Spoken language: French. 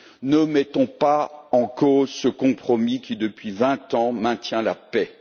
Ne mettons pas en cause ce compromis qui, depuis vingt ans, maintient la paix.